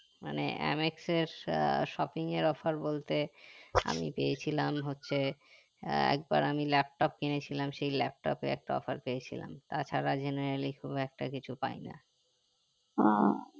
মানে MX এর ah shopping এর offer বলতে আমি পেয়েছিলাম হচ্ছে একবার আমি laptop কিনেছিলাম সেই laptop এ একটা offer পেয়েছিলাম তা ছাড়া generally খুব একটা পাইনা